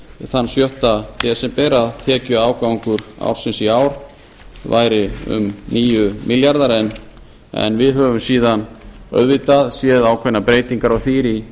þann sjötta desember að tekjuafgangur ársins á ár væri um níu milljarðar en við höfum síðan auðvitað séð ákveðnar breytingar á því í